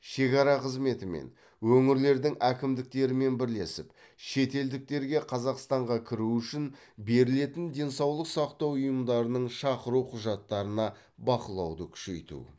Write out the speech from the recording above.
шекара қызметімен өңірлердің әкімдіктерімен бірлесіп шетелдіктерге қазақстанға кіру үшін берілетін денсаулық сақтау ұйымдарының шақыру құжаттарына бақылауды күшейту